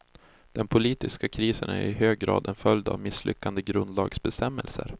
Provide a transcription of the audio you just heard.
Den politiska krisen är i hög grad en följd av misslyckade grundlagsbestämmelser.